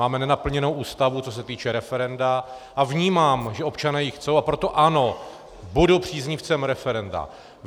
Máme nenaplněnou Ústavu, co se týče referenda, a vnímám, že občané ji chtějí, a proto ano, budu příznivcem referenda.